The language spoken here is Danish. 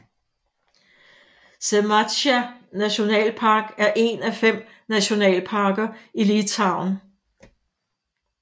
Žemaitija nationalpark er en af fem nationalparker i Litauen